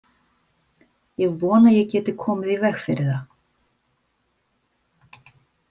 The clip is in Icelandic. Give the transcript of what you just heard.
Ég vona ég geti komið í veg fyrir það.